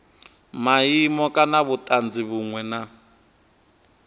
maimo kana vhutanzi vhunwe na